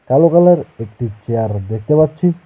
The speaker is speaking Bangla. কালো কালার একটি চেয়ার দেখতে পাচ্ছি।